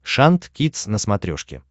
шант кидс на смотрешке